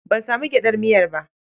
Ban sami gyaɗar miya ba.